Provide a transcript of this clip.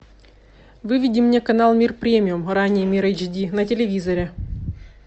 выведи мне канал мир премиум ранее мир эйч ди на телевизоре